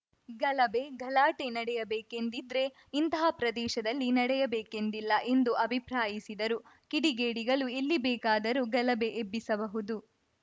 ಗಲಭೆ ಗಲಾಟೆ ನಡೆಯಬೇಕೆಂದಿದ್ರೆ ಇಂತಹ ಪ್ರದೇಶದಲ್ಲೇ ನಡೆಯಬೇಕೆಂದಿಲ್ಲ ಎಂದು ಅಭಿಪ್ರಾಯಿಸಿದರು ಕಿಡಿಗೇಡಿಗಳು ಎಲ್ಲಿ ಬೇಕಾದರೂ ಗಲಭೆ ಎಬ್ಬಿಸಬಹುದು